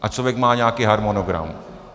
A člověk má nějaký harmonogram.